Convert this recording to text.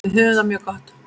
Við höfum það mjög gott.